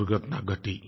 दुर्घटना घटी